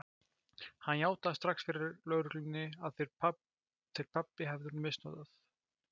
Hann játaði strax fyrir lögreglunni að þeir pabbi hefðu misnotað